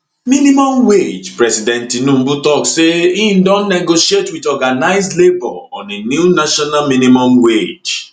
minimum wage president tinubu tok say im don negotiate wit organised labour on a new national minimum wage